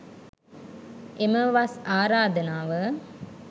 එම වස් ආරාධනාව